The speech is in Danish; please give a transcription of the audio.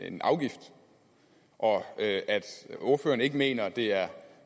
en afgift og at ordføreren ikke mener at det er